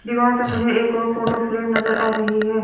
दीवार पे मुझे एक औ फोटो फ्रेम नजर आ रही है।